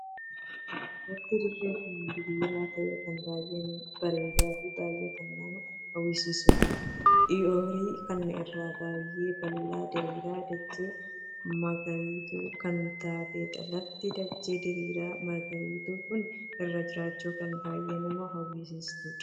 Lafti dirree kun diriiraa tahee kun baay'ee bareedaa fi baay'ee kan nama hawwisiisuudha. ooyiruu kana irra baay'ee bal'aaf diriiraa dachii magariituu kan taateedha. lafti dachee diriiraa magariituu kun irra jiraachuuf kan baay'ee nama hawwisiistuudha.